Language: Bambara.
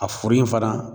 A foro in fana